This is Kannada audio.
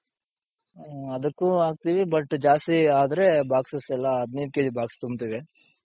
ಅದುಕ್ಕು ಹಾಕ್ತೀವಿ but ಜಾಸ್ತಿ ಆದ್ರೆ boxes ಗೆಲ್ಲ ಹದಿನೈದ್ KGbox ತುಂಬ್ತಿವಿ.